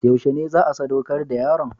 Yaushe ne za a sadaukar da yaron?